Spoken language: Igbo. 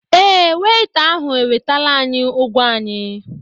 Ee, weita ahụ ewetala ányị́ ụ́gwọ́ anyị́